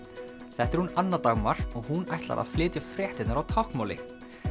þetta er hún Anna Dagmar og hún ætlar að flytja fréttirnar á táknmáli